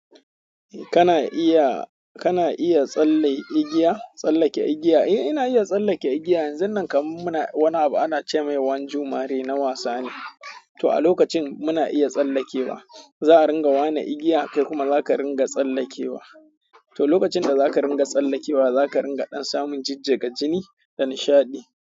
Kana iya, kana iya tsalle igiya, tsallake igiya? Eh ina iya tsallake igiya. Yanzun nan kam muna wani abu ana ce mai wani Jumma'a na wasa ne. To a lokacin muna iya tsallakewa. Za a ringa wane igiya kai kuma zaka ringa tsallakewa. To lokacin da zaka ringa tsallakewa zaka ringa samun jijjiga jini da nishaɗi.